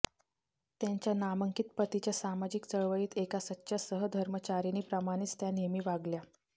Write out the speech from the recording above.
त्यांच्या नामांकित पतीच्या सामाजिक चळवळीत एका सच्च्या सहधर्मचारिणीप्रमाणेच त्या नेहमी वागल्या